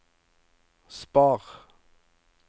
spar